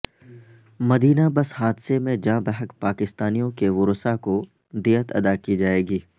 مدینہ bus حادثے میں جاں بحق پاکستانیوں کے ورثاء کو دیت ادا کی جائے گی